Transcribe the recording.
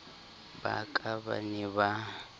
ba ka ba ne ba